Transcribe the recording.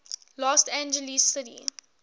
los angeles city